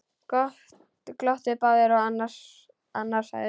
Glottu báðir og annar sagði: